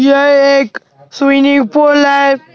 यह एक swimming pool है।